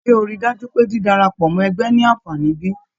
Ṣe o rí dájú pé dídárapọ mọ ẹgbẹ ní anfààní bí?